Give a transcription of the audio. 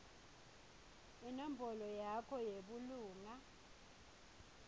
inombolo yakho yebulunga